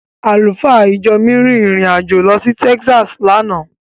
Àlùfáà ìjọ mi rin ìrìn- àjò lọ sí Taxas lánàá.